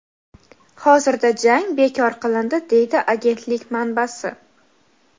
hozirda jang bekor qilindi deydi agentlik manbasi.